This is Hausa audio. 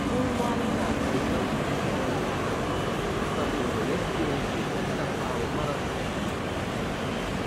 Kowa yana ƙaunar shugaban ƙasar, saboda yadda yake tallafawa marasa gata.